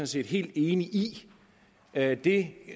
set helt enige i at det